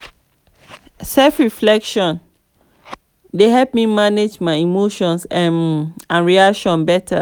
self-reflection dey help me manage my emotions um and reactions better.